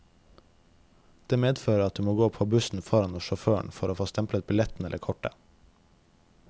Det medfører at du må gå på bussen foran hos sjåføren for å få stemplet billetten eller kortet.